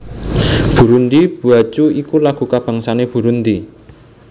Burundi bwacu iku lagu kabangsané Burundi